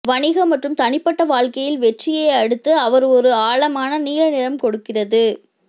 வணிக மற்றும் தனிப்பட்ட வாழ்க்கையில் வெற்றியை அடுத்து அவர் ஒரு ஆழமான நீல நிறம் கொடுக்கிறது